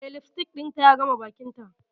Eh, lipstick dinta ya game bakinta.